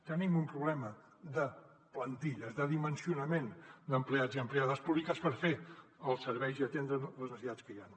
tenim un problema de plantilles de dimensionament d’empleats i empleades públiques per fer els serveis i atendre les necessitats que hi han